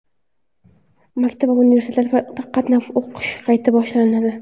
Maktab va universitetlarda qatnab o‘qish qayta boshlanadi.